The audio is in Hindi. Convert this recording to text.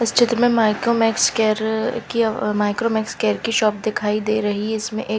इस चित्र में माईको मेक्स केयर की अ माइक्रो मेक्स केयर की शॉप दिखाई दे रही है इसमें एक--